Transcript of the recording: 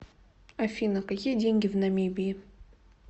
афина какие деньги в намибии